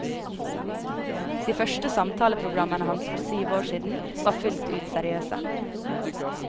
De første samtaleprogrammene hans for syv år siden, var fullt ut seriøse.